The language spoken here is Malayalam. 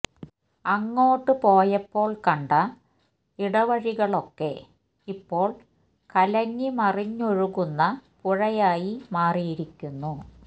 അങ്ങോട്ട് പോയപ്പോള് കണ്ട ഇടവഴികളൊക്കെ ഇപ്പോള് കലങ്ങി മറിഞ്ഞൊഴുകുന്ന പുഴയായി മാറിയിരിക്കുന്നു